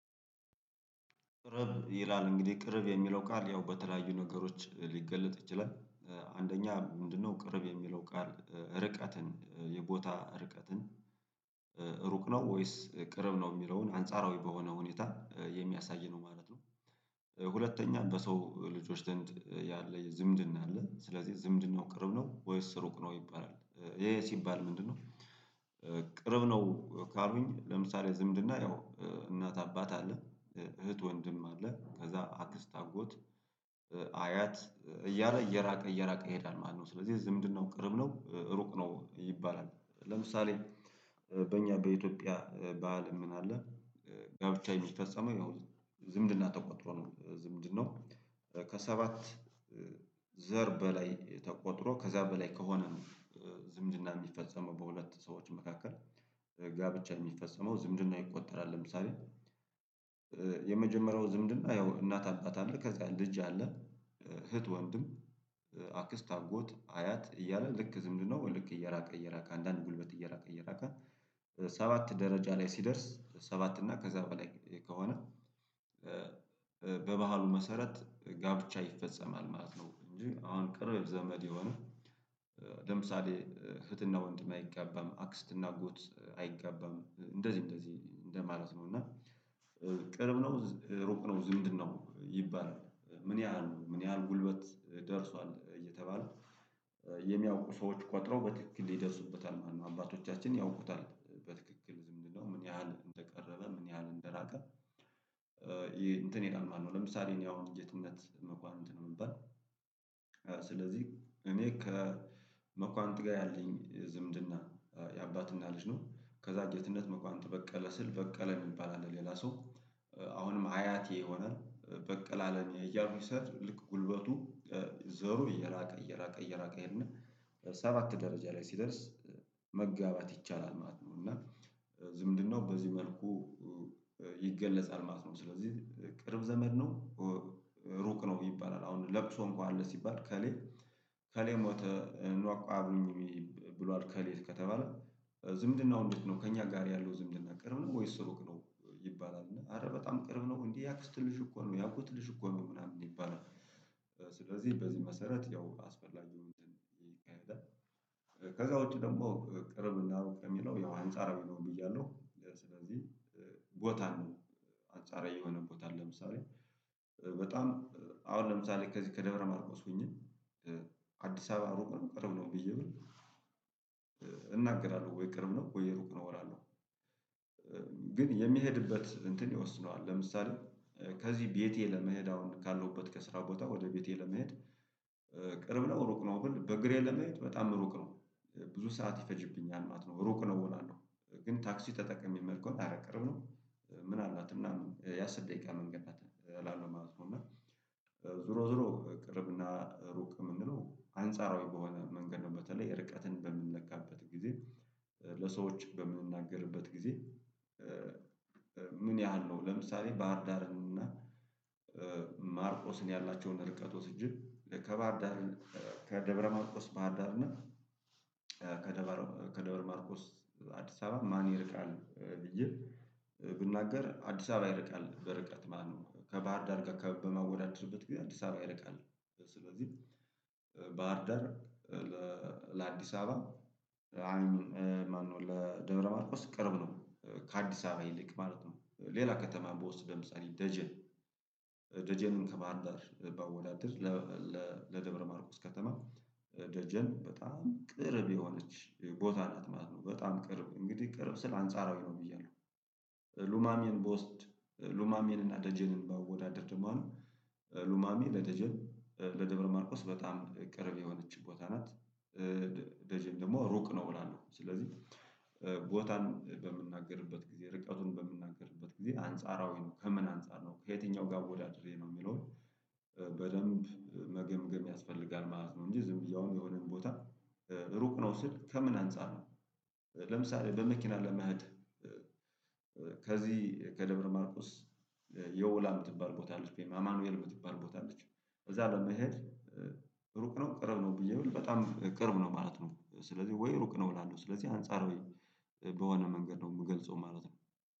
ቅርብ ይላል እንግዲህ ቅርብ የሚለው ቃል ያው በተለያዩ ነገሮች ሊገለጥ ይችላል። አንደኛ ምንድነው ቅርብ የሚለው ቃል ርቀትን የቦታ ርቀትን ሩቅ ነው ወይስ ቅርብ ነው የሚለውን አንጻራዊ በሆነ ሁኔታ የሚያሳይ ነው ማለት ነው? ሁለተኛ በሰው ልጆች ያለ ዝምድን አለ ስለዚህ ዝምድን ነው ቅርብ ነው ወይስ ስሩቅ ነው ይባላል። ይሄ ሲባል ምንድነው? ቅርብ ነው ካልሆኝ ለምሳሌ ዝምድና ያው እናት አባት አለ እህት ወንድም አለ ከዛ አክስት አጎት አያት እያለ እየራቀ እየራቀ ይሄዳል ማለት ነው። ስለዚህ እዚህ ምንድነው ቅርብ ነው ሩቅ ነው ይባላል። ለምሳሌ በእኛ በኢትዮጵያ ባህል ምን አለ ጋብቻዬን ውስጥ ፈጸመው ያው ዝምድና ተቆጥሮ ነው ዝምድናው ከሰባት ዘር በላይ ተቆጥሮ ከዛ በላይ ከሆነ ነው። ዝምድና የሚፈጸመው በሁለት ሰዎች መካከል ጋብቻ የሚፈጸመው ዝምድና ይቆጠራል ለምሳሌ። የመጀመሪያው ዝምድና ያው እናት አባት አይደለ ከዛ ልጅ አለ እህት ወንድም አክስት አጎት አያት እያለ ልክ ዝምድ ነው ልክ እየራቀ እየራቀ አንዳንድ ጉልበት እየራቀ እየራቀ ሰባት ደረጃ ላይ ሲደርስ ሰባት እና ከዛ በላይ ከሆነ በባህሉ መሰረት ጋብቻ ይፈጸማል ማለት ነው። እንጂ አሁን ቅርብ ዘመድ የሆነ ለምሳሌ እህትና ወንድሜ አይጋባም አክስትና አጎት አይቀጋባም እንደዚህ እንደዚህ እንደ ማለት ነው። እና ቅርብ ነው ሮቅ ነው ዝምድ ነው ይባላል ምን ያህል ምን ያህል ጉልበት ደርሷል እየተባለ። የሚያውቁ ሰዎች ቆጥረው በትክክል ይደርሱበታል ማነው አባቶቻችን ያውቁታል በትክክል ዝም ብለው ምን ያህል እንደቀረበ ምን ያህል እንደራቀ? ይሄ እንትን የጣልማል ነው። ለምሳሌ እኔ አሁን የትነት መኳንንት የምንባል ስለዚህ እኔ ከመኳንንት ጋር ያለኝ ዝምድና የአባትና ልጅ ነው። ከዛ እግዚአብሔርነት መኳንት በቀለ ስል በቀለ የሚባል አለ ሌላ ሰው አሁንም አያቴ የሆነ በቀላለም የያዙ ሰዓት ልክ ጉልበቱ ዘሩ እየራቀ እየራቀ እየራቀ ይሄድና ሰባት ደረጃ ላይ ሲደርስ መጋባት ይቻላል ማለት ነው። እና ዝምድናው በዚህ መልኩ ይገለጻል ማለት ነው። ስለዚህ ቅርብ ዘመድ ነው ሩቅ ነው ይባላል። አሁን ለቅሶ እንኳን አለ ሲባል ከሌ ከሌ ሞተ እንዋቆ አብኑኝ ብሏል ከሌት ከተባለ ዝምድና ውንድት ነው ከእኛ ጋር ያለው ዝምድና ቅርብ ነው ወይስ ስሩቅ ነው ይባላል አረ በጣም ቅርብ ነው እንዴ ያክስትልሽ እኮ ነው ያክስትልሽ እኮ ነው ምናምን ይባላል። ስለዚህ በዚህ መሰረት ያው አስፈላጊው እንትን ግን ከዛ ውጪ ደግሞ ቅርብ እናሩቅ የሚለው ያው ሀንጻር ቢለውም እያለው። ቦታን አንጻራዊ የሆነ ቦታን ለምሳሌ በጣም አሁን ለምሳሌ ከዚህ ከደብረ ማርቆስ ሆኜ አዲስ አበባ ሮቆን ቀርብ ነው ብዬ ብል እናገራለሁ ወይ ቅርብ ነው ወይ የሩቅ ነው እላለሁ? ግን የሚሄድበት እንትን ይወስነዋል ለምሳሌ ከዚህ ቤቴ ለመሄድ አሁን ካለሁበት ከስራ ቦታ ወደ ቤቴ ለመሄድ ቅርብ ነው ሩቅ ነው በል በእግሬ ለመየት በጣም ሩቅ ነው ብዙ ሰዓት ይፈጅብኛል ማለት ነው። ሩቅ ነው ሆናለሁ ግን ታክሲ ተጠቅሜ መልኩን ቅርብ ነው ምን አላት ምናምን ያ ስል ደቂቃ መንገድ አታለውም ማለት ነው። እና ዙሮ ዙሮ ቅርብና ሩቅ የምንለው አንጻራዊ በሆነ መንገድ ነው። በተለይ ርቀትን በምንለካበት ጊዜ ለሰዎች በምንናገርበት ጊዜ ምን ያህል ነው? ለምሳሌ ባህርዳርን እና ማርቆስን ያላቸውን ርቀቶች እጅግ ከባህርዳርን ከደብረማርቆስ ባህር ዳርነት ከደብረ ማርቆስ አዲስ አበባ ማን ይርቃል ብዬ ብንናገር አዲስ አበባ ይርቃል በርቀት ማነው ከባህር ዳር ጋር ከበማወዳደርበት ጊዜ አዲስ አበባ ይርቃል። ስለዚህ ባህርዳር ለአዲስ አበባ ማነው ለደብረማርቆስ ቅርብ ነው ከአዲስ አበባ ይልቅ ማለት ነው። ሌላ ከተማ በወስደም ጸሪ ደጀ ደጀን ደጀንን ከባህር ዳር ባወላድር ለደብረ ማርቆስ ከተማ ደጀን በጣም ቅርብ የሆነች ቦታ ነት ማለት ነው። በጣም ቅርብ እንግዲህ ቅርብ ስል አንጻራዊ ነው ብዬ ነው። ሉማሜን ብወስድ ሉማሜን እና ደጀንን ባወዳደርድ ማለት ነው ሉማሜ ለደጀን ለደብረ ማርቆስ በጣም ቅርብ የሆነች ቦታ ናት። ደጀም ደግሞ ሩቅ ነው እላለሁ ስለዚህ። ቦታን በምንናገርበት ጊዜ ርቀቱን በምንናገርበት ጊዜ አንጻራዊ ነው ከምን አንፃር ነው ከየትኛው ጋር ወዳድሬ ነው የሚለውን በደንብ መገምገም ያስፈልጋል ማለት ነው። እንጂ ዝም ብዬውን የሆነን ቦታ ሩቅ ነው ስል ከምን አንፃር ነው? ለምሳሌ በመኪና ለመህድ ከዚህ ከደብረ ማርቆስ የውላም ትባል ቦታ አለች በይ አማኑኤል የምትባል ቦታ አለች። ከዛ በኋላ መሄድ ሩቅ ነው ቅርብ ነው ብዬ ብለው በጣም ቅርብ ነው ማለት ነው። ስለዚህ ወይ ሩቅ ነው እላለሁ ስለዚህ አንጻራዊ በሆነ መንገድ ነው የምገልጸው ማለት ነው።